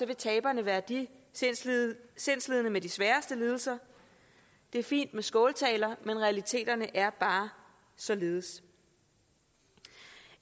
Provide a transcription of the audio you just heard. vil taberne være de sindslidende sindslidende med de sværeste lidelser det er fint med skåltaler men realiteterne er bare således